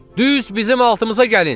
Düz bizim altımıza gəlin!